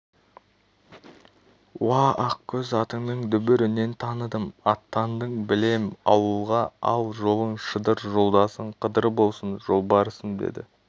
уа ақкөз атыңның дүбірінен таныдым аттандың білем ауылға ал жолың шыдыр жолдасың қыдыр болсын жолбарысым деді